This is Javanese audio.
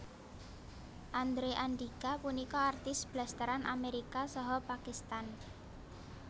Andrew Andika punika artis blasteran Amérika saha Pakistan